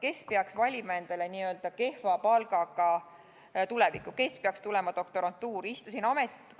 Kes peaks valima endale n-ö kehva palgaga tuleviku, kes peaks tulema doktorantuuri?